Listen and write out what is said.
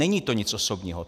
Není to nic osobního.